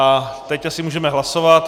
A teď asi můžeme hlasovat.